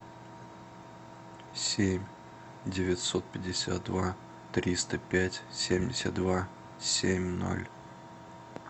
семь девятьсот пятьдесят два триста пять семьдесят два семь ноль